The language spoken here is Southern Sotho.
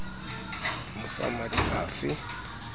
mo fa matl a fe